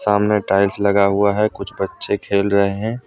सामने टाइल्स लगा हुआ है कुछ बच्चे खेल रहे हैं।